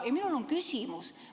Minul on küsimus.